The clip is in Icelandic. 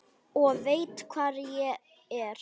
Og veit hvar ég er.